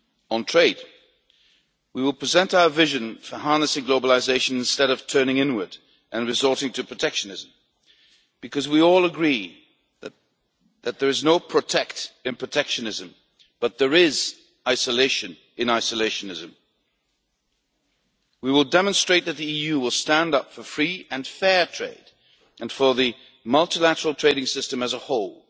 On trade, we will present our vision for harnessing globalisation instead of turning inward and resorting to protectionism, because we all agree that there is no protect' in protectionism, but there is isolation in isolationism. We will demonstrate that the EU will stand up for free and fair trade and for the multilateral trading system as a whole,